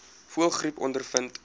voëlgriep ondervind